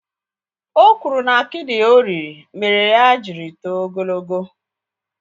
Ò kwụrụ na akidi ò riri mére ya jiri tóo ogologo